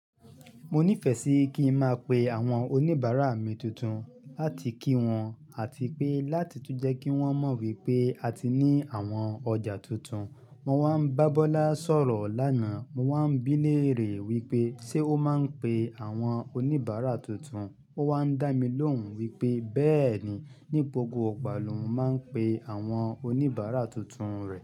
Mo nífẹ̀ẹ́ sí kí n máa pe àwọn oníbàárà mi tuntun láti kí wọn àti pé láti tún jẹ́ kí wọ́n mọ̀ wípé a ti ní àwọn ọjà tuntun. Mo wá ń bá Bọ́lá sọ̀rọ̀ lánàá, mo wá ń bíleèrè wípé ṣe ó máa ń pe àwọn oníbàárà tuntun. Ó wá ń dá mi lóhùn wípé bẹ́ẹ̀ni, ní gbogbo ìgbà lóun máa ń pe àwọn oníbàárà tuntun rẹ̀.